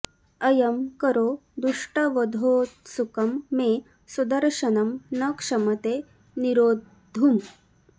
अयं करो दुष्टवधोत्सुकं मे सुदर्शनं न क्षमते निरोद्धुम्